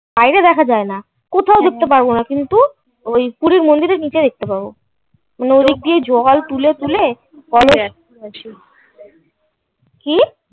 বাইরে দেখা যায় না. কোথাও ঢুকতে পারবো না. কিন্তু ওই পুরীর মন্দিরের নিচে দেখতে পাবো. নদী দিয়ে জল তুলে তুলে কবে কি